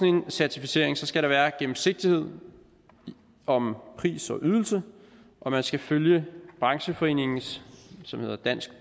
en certificering skal der være gennemsigtighed om pris og ydelser og man skal følge brancheforeningens som hedder danske